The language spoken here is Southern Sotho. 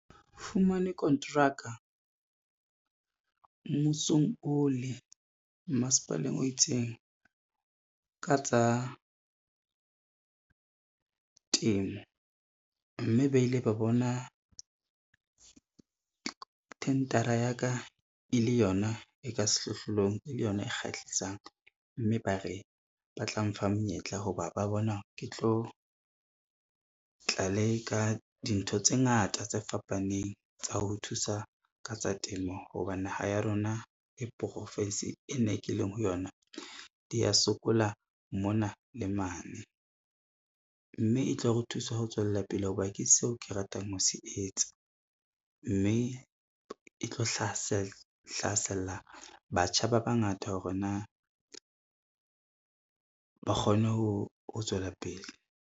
Fumane kontraka mmusong ole masepaleng o itseng ka tsa temo, mme ba ile ba bona thendara ya ka e le yona e ka sehlohlolong e le yona e kgahlisang, mme ba re ba tla mfa menyetla ho ba ba bona ke tlo tla leka dintho tse ngata tse fapaneng tsa ho thusa ka tsa temo hobane naha ya rona le profinsi e na ke leng ho yona di a sokola mona le mane. Mme e tlo re thusa ho tswella pele ho ba ke seo ke ratang ho se etsa, mme e tlo hlasella batjha ba bangata hore na ba kgone ho tswela pele.